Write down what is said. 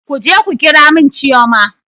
Kuje ku ƙira mun chioma!